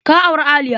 Ka auri Aliya.